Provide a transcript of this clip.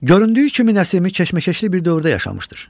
Göründüyü kimi Nəsimi keşməkeşli bir dövrdə yaşamışdır.